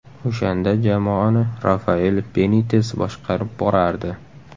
O‘shanda jamoani Rafael Benites boshqarib borardi.